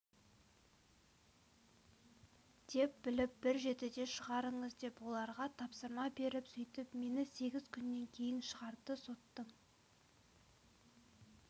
деп біліп бір жетіде шығарыңыз деп оларға тапсырма беріп сөйтіп мені сегіз күннен кейін шығарды соттың